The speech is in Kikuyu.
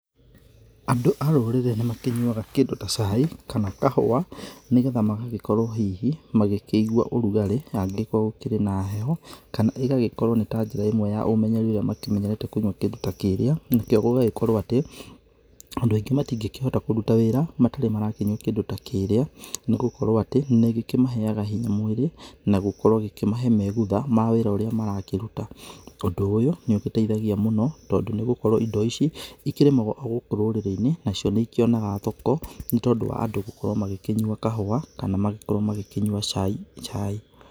Andũ a rũrĩrĩ nĩmakĩnyuaga kĩndũ ta cai kana kahũa, nigetha magagĩkorũo hihi magĩkĩigua ũrugarĩ angigĩkorũo gũkĩrĩ na heho. Kana ĩgagĩkorũo nĩ ta njĩra ĩmwe ya ũmenyereri ũrĩa makĩmenyerete kũnyua kĩndũ ta kĩrĩa. Nakĩo gũgagĩkorũo atĩ, andũ aingĩ matingĩhota kũrũta wĩra, matarĩ marakĩnyua kĩndũ ta kĩrĩa. Nĩ gũkorwo atĩ nĩ gĩkĩmaheaga hinya mwĩrĩ, na gũkorwo gĩkĩmahe megutha ma wĩra ũrĩa marakĩruta. Ũndũ ũyũ, nĩũgĩteithagia mũno, tondũ nĩgũkorwo indo ici igĩkĩrĩmagũo o gũkũ rũrĩrĩ-inĩ. Nacio nĩikĩonaga thoko nĩ tondũ wa andũ gũkorwo magĩkĩnyua kahũa, kana magĩkorũo magĩkĩnyua cai chai